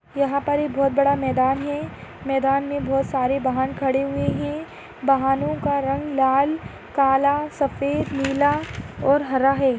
और यहापर बहुत बड़ा मैदान है मैदान मे बहुत सारे वाहन खड़े हुए है वाहनों का रंग लाल काला सफ़ेद नीला और हरा है।